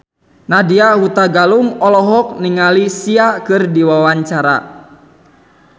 Nadya Hutagalung olohok ningali Sia keur diwawancara